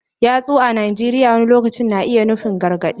Yatsu a Najeriya wani lokaci na iya nufin gargadi.